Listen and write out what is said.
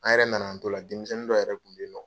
An yɛrɛ na na an to la denmisɛnnin dɔ yɛrɛ kun bɛ ye nɔ.